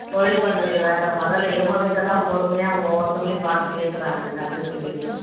தொழில் பண்றது வேற முதல்ல இவங்ககிட்டலாம் பொறுமையா ஒவ்வொருத்தங்களையும் பார்த்து பேசுறாங்கல்ல அதுவே பெரிய